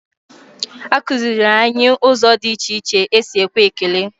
Akụziiri anyị ụzọ dị iche iche esi ekwe ekele.